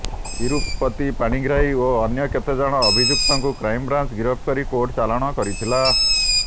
ତିରୁପତି ପାଣିଗ୍ରାହୀ ଓ ଅନ୍ୟ କେତେକ ଅଭିଯୁକ୍ତଙ୍କୁ କ୍ରାଇମବ୍ରାଞ୍ଚ ଗିରଫ କରି କୋର୍ଟ ଚାଲାଣ କରିଥିଲା